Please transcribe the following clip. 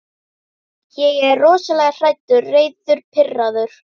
Ég er rosalega hræddur, reiður, pirraður.